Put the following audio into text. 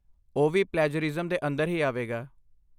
ਓਹ ਵੀ ਪਲੈਜਰਿਜ਼ਮ ਦੇ ਅੰਦਰ ਹੀ ਆਵੇਗਾ